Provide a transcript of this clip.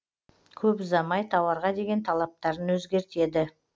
көп ұзамай тауарға деген талаптарын өзгертеді